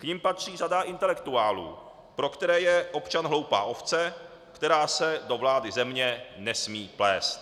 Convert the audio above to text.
K nim patří řada intelektuálů, pro které je občan hloupá ovce, která se do vlády země nesmí plést.